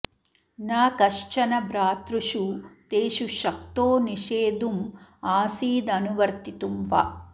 न कश्चन भ्रातृषु तेषु शक्तो निषेद्धुं आसीदनुवर्तितुं वा